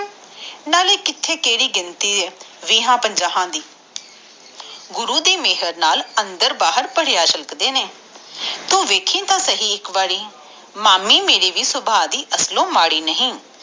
ਨਾਲੇ ਕਿਹੜੀ ਕਿਥੇ ਗਿਣਤੀ ਆ ਵੀਹ ਪੰਜਾਹ ਦੀ ਗੁਰੂ ਦੀ ਮੇਹਰ ਨਾਲ ਅੰਦਰ ਬਾਹਰ ਭਰਿਆ ਰੱਖਦੇ ਨੇ ਤੂੰ ਵੇਖੀ ਤਾ ਸਹੀ ਮਾਮੀ ਵੀ ਮੇਰੀ ਅਸਲੋਂ ਮਾੜੀ ਨਹੀਂ